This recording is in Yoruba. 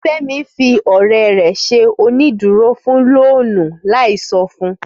Fẹ́mi fi ọ̀rẹ́ rẹ̀ ṣe onídùúró fún lóònù láì sọ fun